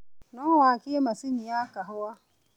no wakie macini ya kahũa